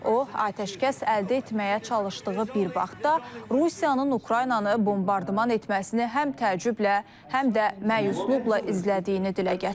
O atəşkəs əldə etməyə çalışdığı bir vaxtda Rusiyanın Ukraynanı bombardman etməsini həm təəccüblə, həm də məyusluqla izlədiyini dilə gətirib.